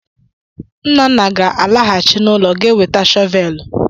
Nnanna ga-alaghachi n’ụlọ ga weta shọvelụ.